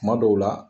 Kuma dɔw la